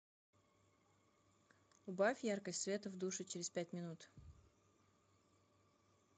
убавь яркость света в душе через пять минут